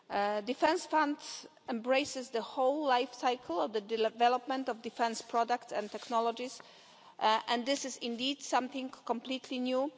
The defence fund embraces the whole lifecycle of the development of defence products and technologies, and this is indeed something completely new.